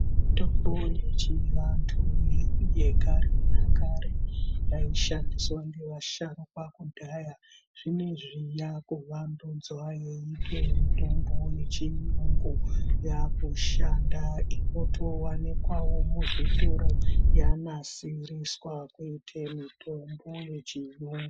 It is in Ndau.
Mitombo yechivandu yekare nakare, yaishandiswaa nevasharukwaa kudhaya, zvino izvi yakuvandudzwaa nemitombo yechiungu, yakushanda inotowanikwavo muzvitoro yanasiriswaa kuite mitombo yechiyungu.